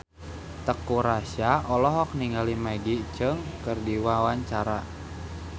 Teuku Rassya olohok ningali Maggie Cheung keur diwawancara